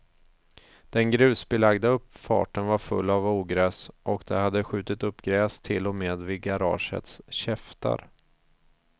Den grusbelagda uppfarten var full av ogräs, och det hade skjutit upp gräs till och med vid garagets käftar.